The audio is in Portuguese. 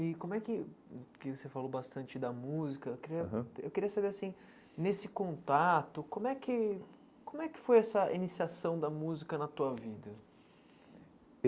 E como é que hum, porque você falou bastante da música, eu queria aham eu queria saber, assim, nesse contato, como é que como é que foi essa iniciação da música na tua vida?